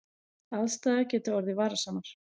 Aðstæður geta orðið varasamar